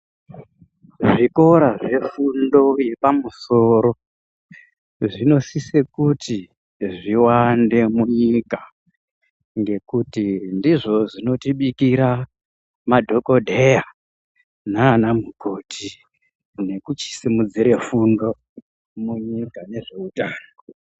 Zvikora zvefundo yepamusoro zvinosise kuti zviwande munyika ngekuti ndizvo zvinotibikira madhokodheya naana mukoti nekuchisimudzire fundo munyika nezveutano.